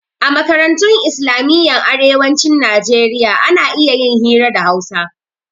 A makarantun islamiyyan arewacin nijeriya ana iya yin hira da hausa